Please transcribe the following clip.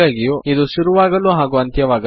ಹಾಗಾಗಿಯೂ ನಿಮಗೆ PHPನಲ್ಲಿ ಟ್ಯಾಗ್ಸ್ ಬೇಕಾಗುತ್ತದೆ